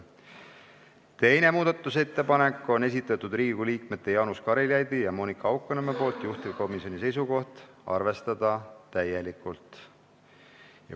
Teise muudatusettepaneku on esitanud Riigikogu liikmed Jaanus Karilaid ja Monika Haukanõmm, juhtivkomisjoni seisukoht on arvestada täielikult.